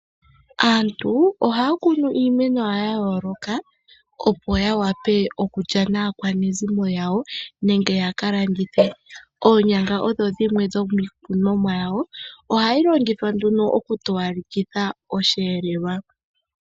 Aantu ohaya kunu iimeno yawo yayooloka opo yawape okulya naakwanezimo yawo nenge yakalandithe. Oonyanga odho dhimwe dhomiikunomwa yawo, ohayi longithwa nduno okutowalekitha oshiyelelwa.